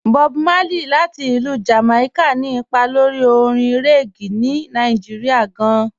Bọ̀b Márlẹ̀yì, láti Ilú Jamaica, ni ìpà lórí òrìṅ reggae ní Nàìjíríà gàn.